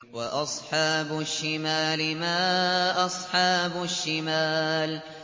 وَأَصْحَابُ الشِّمَالِ مَا أَصْحَابُ الشِّمَالِ